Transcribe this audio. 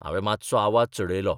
हांवे मात्सो आवाज चडयलो.